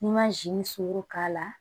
N'i ma zi nin sun k'a la